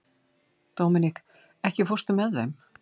Dominik, ekki fórstu með þeim?